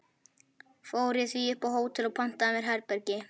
Fór ég því upp á hótel og pantaði mér herbergi.